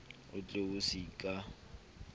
o tle o se ka